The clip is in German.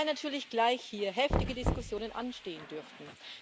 Wobei natürlich gleich hier heftige Diskussionen anstehen dürften.